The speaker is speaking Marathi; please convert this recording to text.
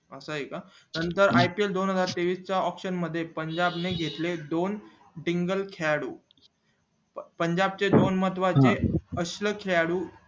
असय का नंतर ipl च्या दोन हजार तेवीस च्या मध्ये पंजाब ने घेतले दोन single खेळाडू पंजाब चे दोन महत्वाचे अक्ष खेळाडू